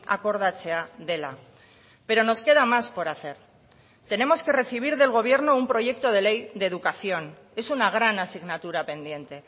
akordatzea dela pero nos queda más por hacer tenemos que recibir del gobierno un proyecto de ley de educación es una gran asignatura pendiente